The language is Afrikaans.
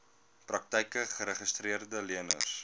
praktyke geregistreede leners